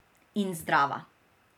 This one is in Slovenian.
In zdrava.